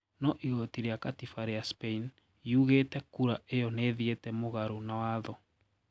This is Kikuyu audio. No igoti ria katiba ria Spain yugĩte kura iyo nĩithiete mũgaro na watho.